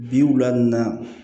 Bi wula na